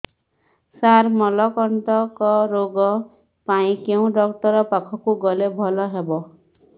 ସାର ମଳକଣ୍ଟକ ରୋଗ ପାଇଁ କେଉଁ ଡକ୍ଟର ପାଖକୁ ଗଲେ ଭଲ ହେବ